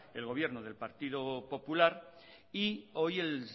el gobierno del partido popular y hoy el